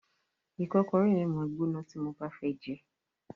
Ìkọ́kọrẹ́ yẹn máa gbóná tí mo bá fẹ́ jẹẹ́.